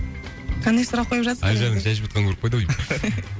қандай сұрақ қойып әлжанның шай ішіп жатқанын көріп қойды ау деймін